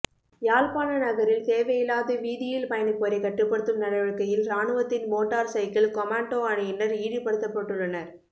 யாழ்ப்பாண நகரில் தேவையில்லாது வீதியில் பயணிப்போரை கட்டுப்படுத்தும் நடவடிக்கையில் ராணுவத்தின் மோட்டார் சைக்கிள் கொமாண்டோ அணியினர் ஈடுபடுத்தப்பட்டுள்ளனர்